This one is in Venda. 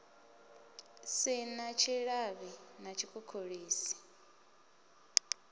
si na tshilavhi na tshikhukhulisi